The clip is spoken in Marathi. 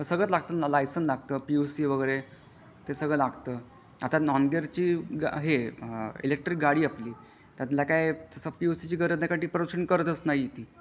सगळंच लागत लायसेन्स लागत पी यू सी वगैरे ते सगळं लागत आता नॉन गियर चा इलेक्ट्रिक गाडी आपली त्याला काय पी यू सी ची गरजच नाही कारण ती प्रदूषण करतच नाही ती.